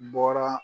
Bɔra